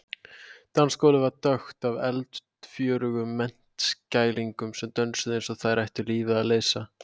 Dansgólfið var krökkt af eldfjörugum menntskælingum sem dönsuðu eins og þeir ættu lífið að leysa.